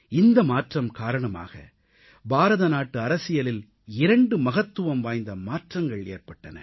இந்த மாற்றம் காரணமாக பாரத நாட்டு அரசியலில் இரண்டு மகத்துவம் வாய்ந்த மாற்றங்கள் ஏற்பட்டன